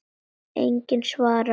Enginn svarar.